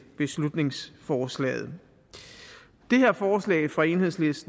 beslutningsforslaget det her forslag fra enhedslisten